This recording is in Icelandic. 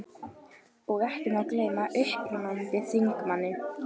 Og ekki má gleyma upprennandi þingmanni